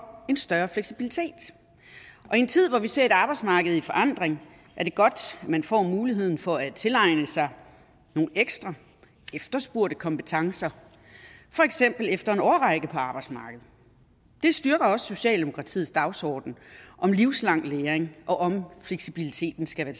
en større fleksibilitet og i en tid hvor vi ser et arbejdsmarked i forandring er det godt man får muligheden for at tilegne sig nogle ekstra efterspurgte kompetencer for eksempel efter en årrække på arbejdsmarkedet det styrker også socialdemokratiets dagsorden om livslang læring og om at fleksibiliteten skal være